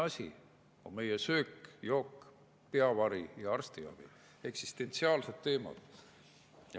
Esimesed asjad on söök-jook, peavari ja arstiabi – eksistentsiaalsed teemad.